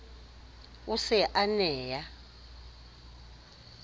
o se a ne a